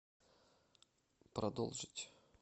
продолжить